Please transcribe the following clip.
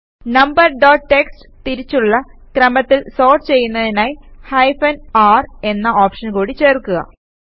number dot TXT തിരിച്ചുള്ള ക്രമത്തിൽ sort ചെയ്യുന്നതിനായി ഹൈഫൻ r എന്ന ഓപ്ഷൻ കൂടി ചേർക്കുക